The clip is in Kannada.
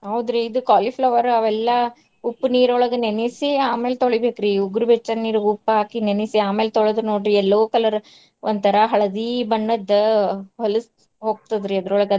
ಹೌದ್ರಿ ಇದ್ cauliflower ಅವೆಲ್ಲಾ ಉಪ್ಪ್ ನೀರೊಳಗ ನೆನಸಿ ಆಮೇಲೆ ತೊಳಿಬೇಕ್ರಿ ಉಗುರ್ ಬೆಚ್ಚ ನೀರಿಗ್ ಉಪ್ಪ್ ಹಾಕಿ ನೆನಿಸಿ ಆಮೇಲೆ ತೊಳೆದ್ ನೋಡ್ರಿ yellow colour ಒಂಥರಾ ಹಳದಿ ಬಣ್ಣದ್ದ್ ಹೊಲಸ್ ಹೋಗ್ತದ್ರಿ ಅದ್ರೊಳಗ.